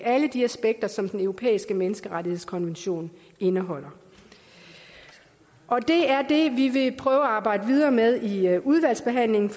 alle de aspekter som den europæiske menneskerettighedskonvention indeholder det er det vi vil prøve at arbejde videre med i udvalgsbehandlingen